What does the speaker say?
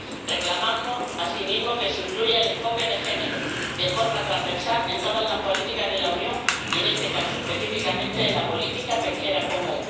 Reclamamos asimismo que se incluya el enfoque de género de forma transversal en todas las políticas de la Unión, y en este caso, específicamente en la política pesquera común.